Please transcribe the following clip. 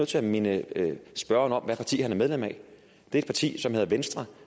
til at minde spørgeren om hvilket parti han er medlem af det er partiet venstre